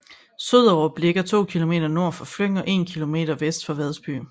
Soderup ligger 2 km nord for Fløng og 1 km vest for Vadsby